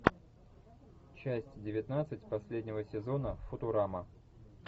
часть девятнадцать последнего сезона футурама